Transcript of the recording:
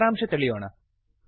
ಸಾರಾಂಶ ತಿಳಿಯೋಣ